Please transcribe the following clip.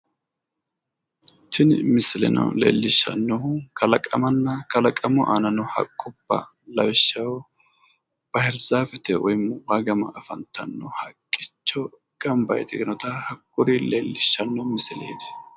Tini misileno leellishshannohu kalaqamanna kalaqamu aana noo haqqubba lawishshaho bahiirizaafete woyi wayi gama afantanno haqqicho gamba yitinota kuri leellishshanno misileeti.